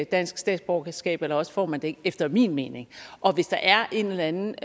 dansk statsborgerskab eller også får man det ikke efter min mening og hvis der er en eller anden